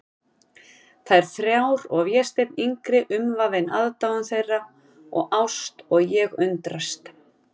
Þær þrjár og Vésteinn yngri umvafinn aðdáun þeirra og ást, og ég undrast.